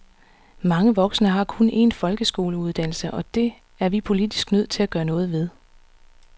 Mange voksne har kun en folkeskoleuddannelse, og det er vi politisk nødt til at gøre noget ved.